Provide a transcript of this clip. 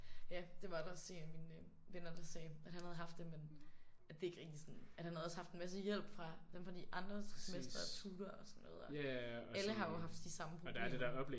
Ja det var der også en af mine venner der sagde. At han havde haft det men at det ikke rigtig sådan at han havde også haft en masse hjælp fra dem fra de andre semestre og tutorer og sådan noget. Alle har jo haft de samme problemer